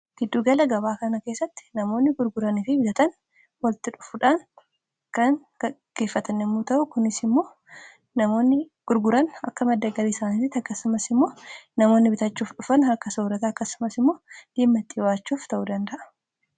Giddugala gabaa kana keessatti namoonni gurguranii fi bitatan walitti dhufuudhaan kan gaggeeffatan yemmuu ta'u kunis immoo namoonni gurguran akka madda galii isaaniitti akkasumas immoo namoonni bitachuuf dhufan akka soorata akkasumas immoo ittiin jiraachuuf ta'uu danda'a.